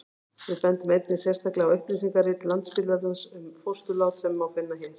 við bendum einnig sérstaklega á upplýsingarit landsspítalans um fósturlát sem má finna hér